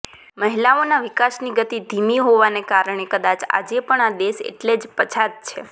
મહિલાઓના વિકાસની ગતિ ધીમી હોવાને કારણે કદાચ આજે પણ આ દેશ એટલે જ પછાત છે